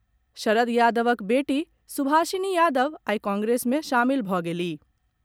शरद यादवक बेटी शुभाषिनी यादव आई कांग्रेस में शामिल भऽ गेलिह।